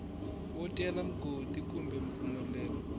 wo cela mugodi kumbe mpfumelelo